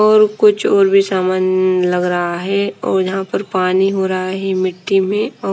और कुछ और भी सामान लग रहा है और यहाँ पर पानी हो रहा है मिट्टी में और--